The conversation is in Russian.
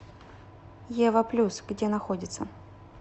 ева плюс где находится